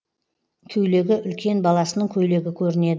көйлегі үлкен баласының көйлегі көрінеді